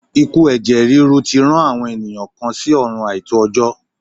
Ikú ẹ̀jẹ̀ ríru tí rán àwọn ènìyàn kan sí ọ̀run àìtó jọ́.